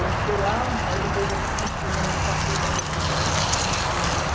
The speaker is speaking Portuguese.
Eu estudei lá, aí depois eu consegui realmente, passei, percebi matéria, eu fiz o primeiro.